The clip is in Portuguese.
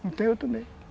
Não tem outro meio.